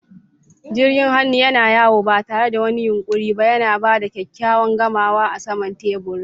Jirgin hannu yana yawo ba tare da wani yunƙuri ba, yana ba da kyakkyawan gamawa a saman teburin.